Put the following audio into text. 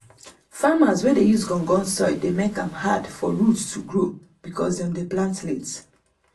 farmers wey dey use gum gum soil dey make am hard for root to grow because dem dey plant late.